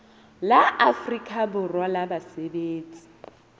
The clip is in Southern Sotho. la afrika borwa la basebetsi